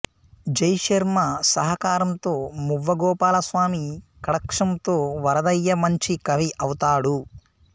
J Sharma సహకారంతో మువ్వ గోపాలస్వామి కటాక్షంతో వరదయ్య మంచి కవి అవుతాడు